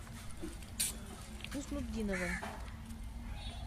хуснутдинова